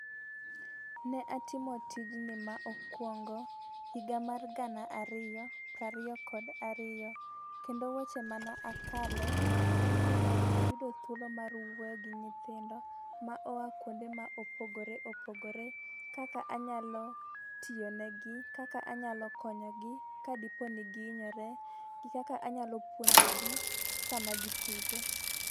Ne atimo tijni ma okwongo higa mar gana ariyo pra riyo kod ariyo kendo weche mana akale en ni ne yudo thuolo mar wuoyo gi nyithindo ma oa kuonde ma opogore opogore. Kaka anyalo tiyo ne gi, kaka anyalo konyo gi kadipo ni giinyore, gi kaka anyalo puponjo gi sama gitugo.